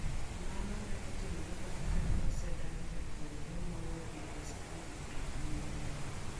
Mano ne otimore bang ' kane osedagi japuonjre moro dhi e skul nikech yie wiye.